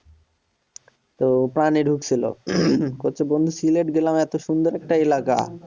কছছে বন্ধু সিলেট গেলাম এত সুন্দর একটা এলাকা